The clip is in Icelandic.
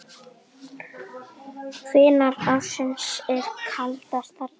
Hvenær ársins er kaldast þarna?